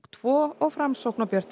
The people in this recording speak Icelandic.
tvo og Framsókn og Björt